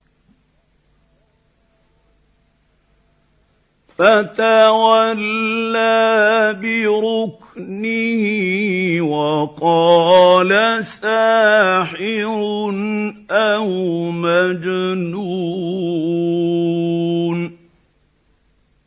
فَتَوَلَّىٰ بِرُكْنِهِ وَقَالَ سَاحِرٌ أَوْ مَجْنُونٌ